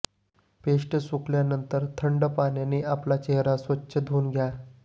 paste सुकल्यानंतर थंड पाण्याने आपला चेहरा स्वच्छ धुऊन घ्या